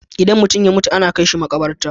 Idan mutum ya mutu ana kai shi maƙabarta.